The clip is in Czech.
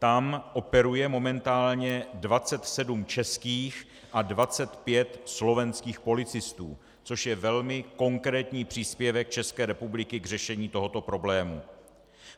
Tam operuje momentálně 27 českých a 25 slovenských policistů, což je velmi konkrétní příspěvek České republiky k řešení tohoto problému.